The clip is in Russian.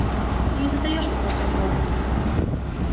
ты не задаёшь вопросов богу